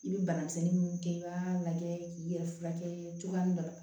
I bɛ bana misɛnnin minnu kɛ i b'a lajɛ k'i yɛrɛ furakɛ cogoya min na